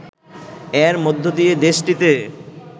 এর মধ্য দিয়ে দেশটিতে